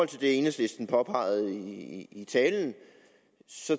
det enhedslisten påpegede i talen